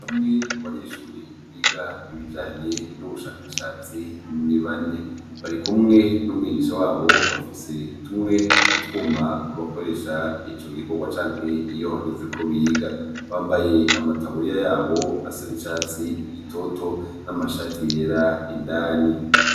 bamwe mu banyeshuri biga ibijanye n'ubushakashatsi ni bane bari kumwe n'umwigisha wabo bafise tumwe mu twuma bakoresha icyo gikowa canke iyo hageze ko biga bambaye amataburiya yabo asa n'icatsi gitoto n'amashati yera indani